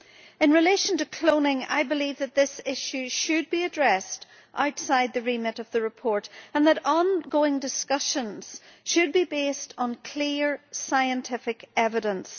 In relation to cloning, I believe that this issue should be addressed outside the remit of the report and that ongoing discussions should be based on clear scientific evidence.